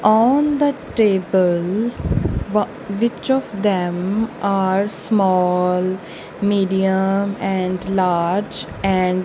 on the table wa which of them are small medium and large and--